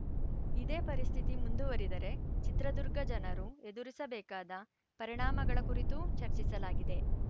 ಇದೇ ಪರಿಸ್ಥಿತಿ ಮುಂದುವರಿದರೆ ಚಿತ್ರದುರ್ಗ ಜನರು ಎದುರಿಸಬೇಕಾದ ಪರಿಣಾಮಗಳ ಕುರಿತೂ ಚರ್ಚಿಸಲಾಗಿದೆ